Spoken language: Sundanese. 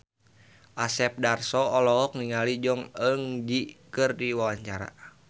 Asep Darso olohok ningali Jong Eun Ji keur diwawancara